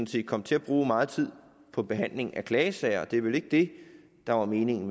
set kommer til at bruge meget tid på behandling af klagesager og det er vel ikke det der er meningen